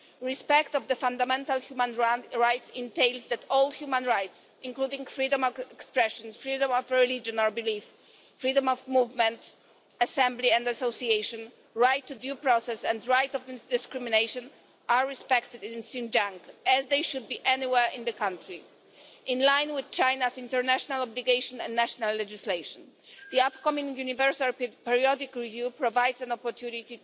Respect for fundamental human rights requires that all human rights, including freedom of expression, freedom of religion or belief, freedom of movement, assembly and association, the right to due process and the right to non-discrimination, are respected in Xinjiang, as they should be anywhere in the country, in line with China's international obligations and national legislation. The upcoming Universal Periodic Review provides an opportunity